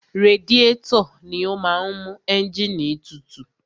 Radiétọ̀ ni ó máa ń mú ẹ́ǹgìnì tutù.